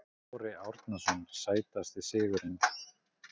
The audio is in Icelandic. Kári Árnason Sætasti sigurinn?